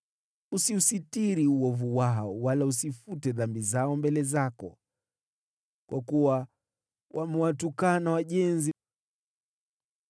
Usiusitiri uovu wao, wala usifute dhambi zao mbele zako, kwa kuwa wamewatukana wajenzi mbele.